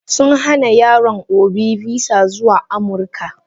Sun hana yaron obi visa zuwa amurika.